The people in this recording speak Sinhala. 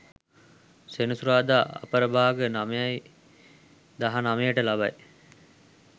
සෙනසුරාදා අපරභාග 9.19 ට ලබයි.